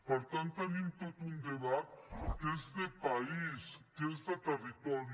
per tant tenim tot un debat que és de país que és de territori